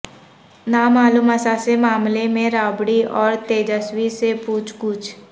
نامعلوم اثاثے معاملے میں رابڑی اور تیجسوی سے پوچھ گچھ